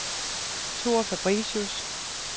Thor Fabricius